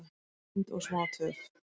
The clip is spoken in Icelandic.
und og smá töf,